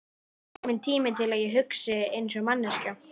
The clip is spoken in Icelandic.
Mér finnst kominn tími til að ég hugsi einsog manneskja.